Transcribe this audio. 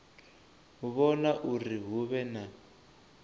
vhona uri hu vhe na